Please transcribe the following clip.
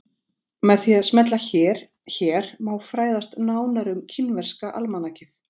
Með því að smella hér hér má fræðast nánar um kínverska almanakið.